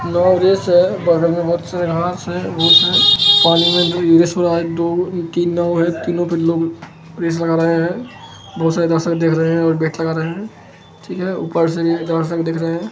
लोग दिस हे बगल में बहुत सारे घास हे कोलेज में उसे दो तिन हे तीनो के तीनो लोग बहुत सारे दर्शन दिख रहे हे ओर बेग लगा रखे हे ओर ऊपर डोर से दिख रहे हे ।